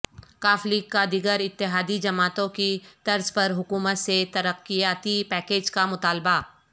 ق لیگ کا دیگر اتحادی جماعتوں کی طرز پر حکومت سے ترقیاتی پیکیج کا مطالبہ